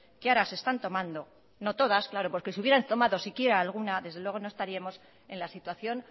que ahora se están tomando no todas porque si hubieran tomado si quiera alguna desde luego no estaríamos en la situación